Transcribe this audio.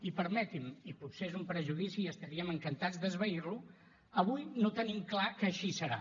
i permeti’m i potser és un prejudici i estaríem encantats d’esvair lo avui no tenim clar que així serà